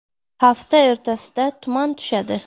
Hafta o‘rtasida tuman tushadi.